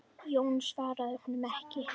Jón svaraði honum ekki.